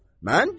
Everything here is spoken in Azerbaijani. Mən deyirəm.